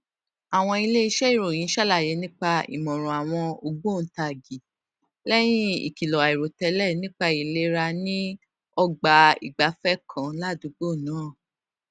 àwọn iléeṣẹ ìròyìn ṣàlàyé nípa ìmọràn àwọn ògbóǹtagì lẹyìn ìkìlọ àìròtélè nípa ìlera ní ọgbà ìgbafẹ kan ládùúgbò náà